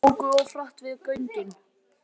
Óku of hratt við göngin